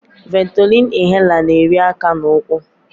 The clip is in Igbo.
Ventolin inhaler na-eri aka na ụkwụ.